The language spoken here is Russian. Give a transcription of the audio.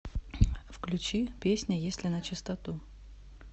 включи песня если начистоту